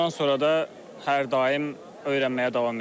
Bundan sonra da hər daim öyrənməyə davam edəcəyik.